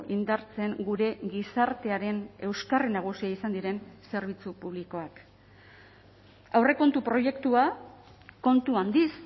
indartzen gure gizartearen euskarri nagusia izan diren zerbitzu publikoak aurrekontu proiektua kontu handiz